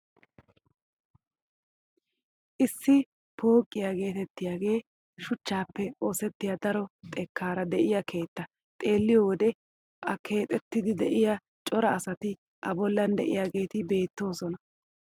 Issi pooqiyaa getettiyaagee shuchchaappe ossettiyaa daro xekkaara de'iyaa keettaa xeelliyoo wode a keexxiidi de'iyaa cora asati a bollan de'iyaageti beettoosona.